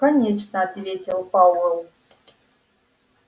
конечно ответил пауэлл